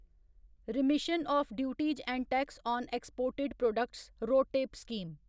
remission of duties and tax on exported products RoDTEP scheme